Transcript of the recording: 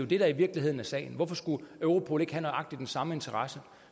det der i virkeligheden er sagen hvorfor skulle europol ikke have nøjagtig den samme interesse